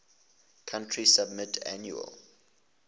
country submit annual